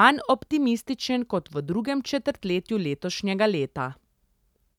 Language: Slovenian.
manj optimističen kot v drugem četrtletju letošnjega leta.